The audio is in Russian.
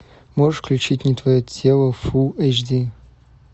можешь включить не твое тело фулл эйч ди